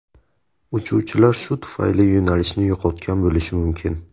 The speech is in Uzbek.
Uchuvchilar shu tufayli yo‘nalishni yo‘qotgan bo‘lishi mumkin.